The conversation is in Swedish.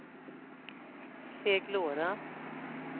Seglora